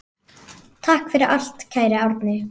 Takk fyrir allt, kæri Árni.